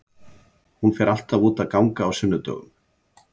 Hún fer alltaf út að ganga á sunnudögum.